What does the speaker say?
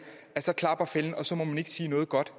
klapper fælden og så må man ikke sige noget godt